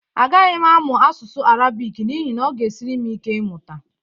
A gaghị m amụ asụsụ Arabik n'ihi na ọ ga-esiri m ike ịmụta